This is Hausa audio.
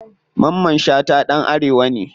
Mamman shata ɗan arewa ne.